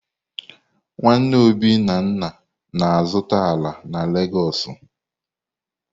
Nwanne Obi na nna na-azuta ala na Legosu.